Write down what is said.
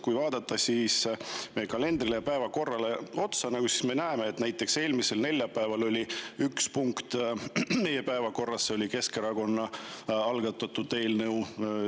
Kui me vaatame meie kalendrit ja päevakorda, siis me näeme, et näiteks eelmisel neljapäeval oli meil päevakorras üks punkt ja see oli Keskerakonna algatatud eelnõu.